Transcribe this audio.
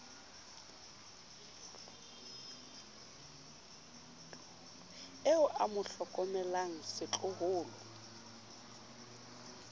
eo a mo hlokomelang setloholo